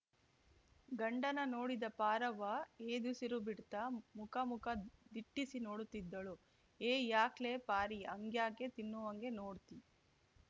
ಗಂಡನ ನೋಡಿದ ಪಾರವ್ವ ಎದುಸಿರು ಬಿಡ್ತಾ ಮುಕ ಮುಕ ದಿಟ್ಟಿಸಿ ನೋಡುತ್ತಿದ್ದಳು ಹೇ ಯಾಕ್ಲೆ ಪಾರಿ ಹಂಗ್ಯಾಕೆ ತಿನ್ನುವಂಗ ನೋಡ್ತಿ